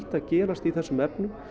að gerast í þessum efnum